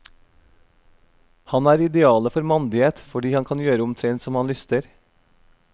Han er idealet for mandighet fordi han kan gjøre omtrent som han lyster.